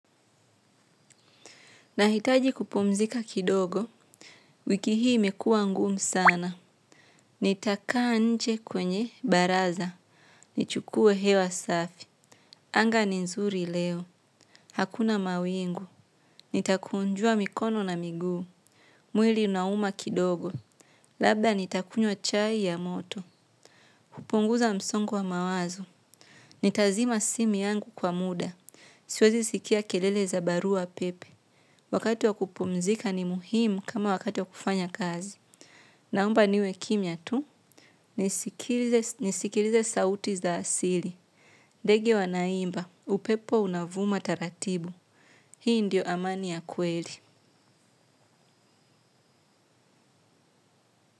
Nahitaji kupumzika kidogo, wiki hii imekua ngumu sana. Nitakaa nje kwenye baraza. Nichukue hewa safi. Anga ni nzuri leo. Hakuna mawingu. Nitakunjua mikono na miguu. Mwili unauma kidogo. Labda nitakunywa chai ya moto. Kupunguza msongo wa mawazu. Nitazima simi yangu kwa muda. Siwezi sikia kelele za barua pepe. Wakati wa kupumzika ni muhimu kama wakati wa kufanya kazi. Naumba niwe kimya tu, nisikilize sauti za asili. Degi wa naimba, upepo unavuma taratibu. Hii ndio amani ya kweli.